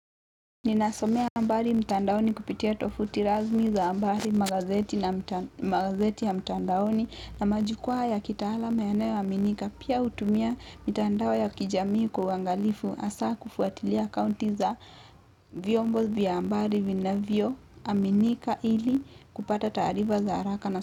Ninasomea habari mtandaoni kupitia tofuti rasmi za habari magazeti na mtandaoni na majukwa ya kitaalam yanayo aminika. Pia hutumia mitandao ya kijamii kuangalifu hasa kufuatilia akaunti za vyombo vya habari vina vyo aminika ili kupata tarifa za haraka.